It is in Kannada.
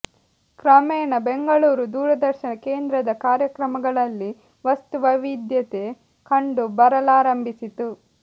ಕ್ರಮೇಣ ಬೆಂಗಳೂರು ದೂರದರ್ಶನ ಕೇಂದ್ರದ ಕಾರ್ಯಕ್ರಮಗಳಲ್ಲಿ ವಸ್ತು ವೈವಿಧ್ಯತೆ ಕಂಡು ಬರಲಾರಂಭಿಸಿತು